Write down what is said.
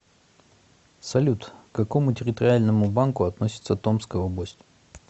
салют к какому территориальному банку относится томская область